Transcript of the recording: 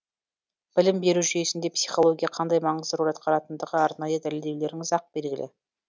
білім беру жүйесінде психология қандай маңызды рөл атқаратындығы арнайы дәлелдеулеріңіз ақ белгілі